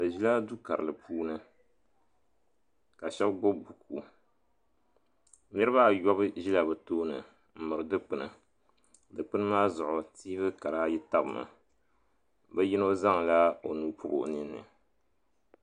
Bɛ ʒila dukarili puuni ka shɛba gbibi buku niriba ayobu ʒila bɛ tooni m miri dikpina dikpina maa zuɣu tiivi kara ayi tabmi bɛ yino zaŋla o nuu bɔbi o ninni.